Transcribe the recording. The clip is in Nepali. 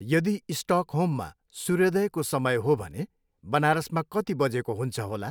यदि स्टकहोममा सूर्योदयको समय हो भने बनारसमा कति बजेको हुन्छ होला?